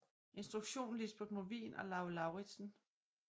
Instruktion Lisbeth Movin og Lau Lauritzen jun